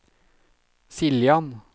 Siljan